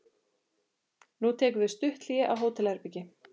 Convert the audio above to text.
Nú tekur við stutt hlé á hótelherbergi.